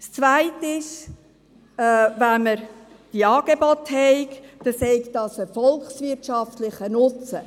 Der zweite Punkt: Wenn man diese Angebote habe, sei dies ein volkswirtschaftlicher Nutzen;